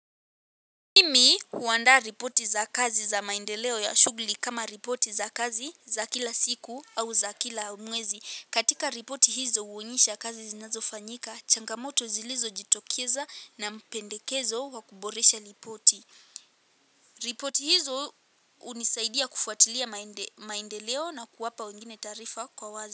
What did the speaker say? Mimi huandaa ripoti za kazi za maendeleo ya shughli kama ripoti za kazi za kila siku au za kila mwezi. Katika ripoti hizo huonyesha kazi zinazofanyika, changamoto zilizojitokeza na mpendekezo wa kuboresha ripoti. Ripoti hizo unisaidia kufuatilia maendeleo na kuwapa wengine tarifa kwa wazi.